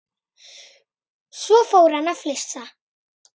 Svo fór hann að flissa.